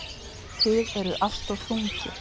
Þið eruð alltof þungir.